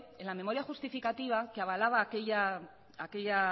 en la memoria justificativa que avalaba aquella